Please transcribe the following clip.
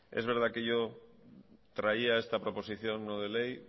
es verdad que yo traía esta proposición no de ley